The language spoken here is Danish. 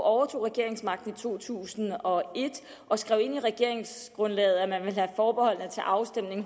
overtog regeringsmagten i to tusind og et og skrev ind i regeringsgrundlaget at man ville have forbeholdene til afstemning